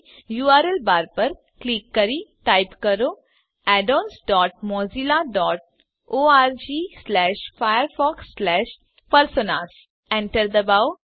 URL bar પર click કરી type કરો addons dot Mozilla dot org slash Firefox slash personas Enter દબાવો